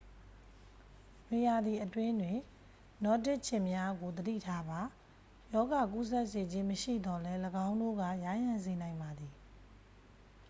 နွေရာသီအတွင်းတွင် နောဒစ်ခြင်များကို သတိထားပါ ရောဂါကူးစက်စေခြင်း မရှိသော်လည်း ၎င်းတို့က ယားယံစေနိုင်ပါသည်